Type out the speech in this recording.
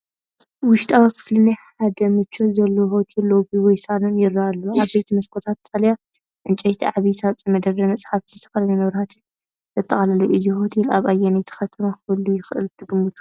ውሽጣዊ ክፍሊ ናይ ሓደ ምቾት ዘለዎ ሆቴል ሎቢ ወይ ሳሎን ይረአ ኣሎ። ዓበይቲ መስኮታት፡ ጣርያ ዕንጨይቲ፡ ዓቢ ሳፁን፡ መደርደሪ መጻሕፍትን ዝተፈላለየ መብራህትን ዘጠቃለለ እዩ። እዚ ሆቴል ኣብ ኣየነይቲ ከተማ ክህሉ ይኽእል ትግምቱ?